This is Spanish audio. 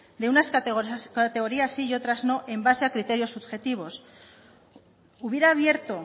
de unas categorías sí y otras no en base a criterios subjetivos hubiera abierto